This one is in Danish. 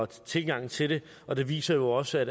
tilgang til det og det viser jo også